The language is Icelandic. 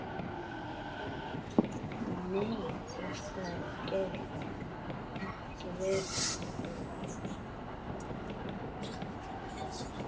Nei, þetta gat ekki verið.